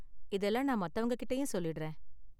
இதெல்லாம் நான் மத்தவங்ககிட்டயும் சொல்லிடுறேன்.